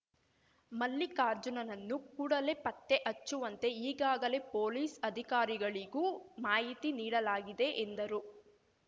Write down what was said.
ಮಲ್ಲಿಕಾರ್ಜುನನ್ನು ಕೂಡಲೇ ಪತ್ತೆ ಹಚ್ಚುವಂತೆ ಈಗಾಗಲೇ ಪೊಲೀಸ್‌ ಅಧಿಕಾರಿಗಳಿಗೂ ಮಾಹಿತಿ ನೀಡಲಾಗಿದೆ ಎಂದರು